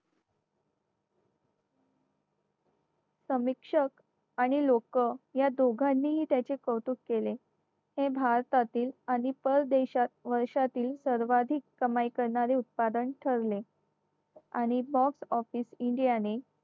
समीक्ष आणि लोक या दोघांनीही त्याचे कौतुक केले हे भारतातील अनेक पर देश वर्षातील सर्वाधिक कमाई करणारे उत्पादन ठरले आणि मग office india ने